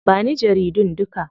Ba ni jaridun duka.